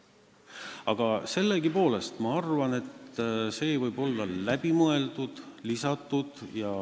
Aga ma sellegipoolest arvan, et see teema võiks olla läbi mõeldud ja sinna lisatud.